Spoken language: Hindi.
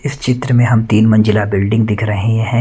इस चित्र में हम तीन मंजिला बिल्डिंग दिख रहे हैं।